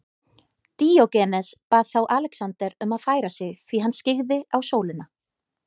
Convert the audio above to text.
Díógenes bað þá Alexander um að færa sig því hann skyggði á sólina.